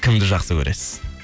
кімді жақсы көресіз